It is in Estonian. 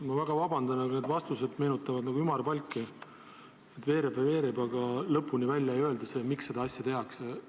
Ma väga vabandan, aga need vastused meenutavad ümarpalki, veereb ja veereb, aga lõpuni välja ei öelda, miks seda asja tehakse.